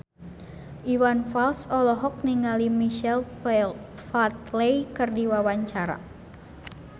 Iwan Fals olohok ningali Michael Flatley keur diwawancara